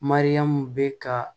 Mariyamu bɛ ka